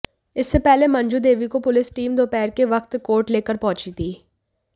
इससे पहले मंजू देवी को पुलिस टीम दोपहर के वक्त कोर्ट लेकर पहुंची थी